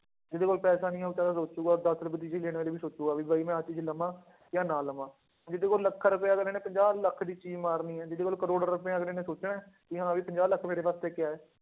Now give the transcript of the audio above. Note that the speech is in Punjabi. ਜਿਹਦੇ ਕੋਲ ਪੈਸੇ ਨਹੀਂ ਹੈ ਉਹ ਤਾਂ ਸੋਚੇਗਾ ਦਸ ਰੁਪਏ ਦੀ ਚੀਜ਼ ਲੈਣ ਵੇਲੇ ਵੀ ਸੋਚੇਗਾ ਵੀ ਬਾਈ ਮੈਂ ਆਹ ਚੀਜ਼ ਲਵਾਂ ਜਾਂ ਨਾ ਲਵਾਂ ਜਿਹਦੇ ਕੋਲ ਲੱਖਾਂ ਰੁਪਇਆ ਅਗਲੇ ਨੇ ਪੰਜਾਹ ਲੱਖ ਦੀ ਚੀਜ਼ ਮਾਰਨੀ ਹੈ ਜਿਹਦੇ ਕੋਲ ਕਰੌੜ ਰੁਪਇਆ ਅਗਲੇ ਨੇ ਸੋਚਣਾ ਹੈ, ਕਿ ਹਾਂ ਵੀ ਪੰਜਾਹ ਲੱਖ ਮੇਰੇ ਵਾਸਤੇ ਕਿਆ ਹੈ।